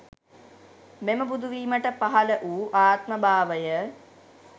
මෙම බුදුවීමට පහළ වූ ආත්ම භාවය